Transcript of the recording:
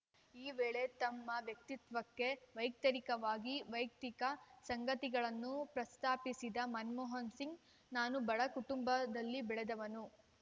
ಈ ವೇಳೆ ತಮ್ಮ ವ್ಯಕ್ತಿತ್ವಕ್ಕೆ ವ್ಯತಿರಿಕ್ತವಾಗಿ ವೈಯಕ್ತಿಕ ಸಂಗತಿಗಳನ್ನು ಪ್ರಸ್ತಾಪಿಸಿದ ಮನಮೋಹನ್‌ ಸಿಂಗ್‌ ನಾನು ಬಡ ಕುಟುಂಬದಲ್ಲಿ ಬೆಳೆದವನು